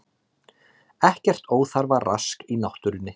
Ekkert óþarfa rask í náttúrunni